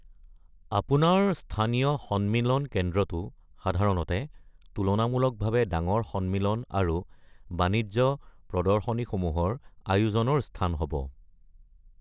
আপোনাৰ স্থানীয় সন্মিলন কেন্দ্ৰটো সাধাৰণতে তুলনামূলকভাৱে ডাঙৰ সন্মিলন আৰু বাণিজ্য প্ৰদৰ্শনীসমূহৰ আয়োজনৰ স্থান হ’ব।